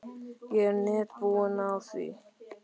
Ég er nett búinn á því.